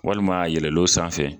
Walima a yɛlɛlo sanfɛ.